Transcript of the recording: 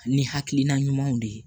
Ni hakilina ɲumanw de ye